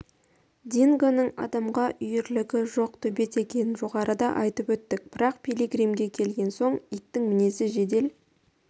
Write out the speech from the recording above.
дингоның адамға үйірлігі жоқ төбет екенін жоғарыда айтып өттік бірақ пилигримге келген соң иттің мінезі жедел